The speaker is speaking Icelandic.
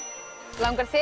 langar þig